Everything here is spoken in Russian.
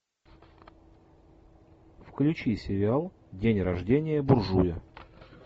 включи сериал день рождения буржуя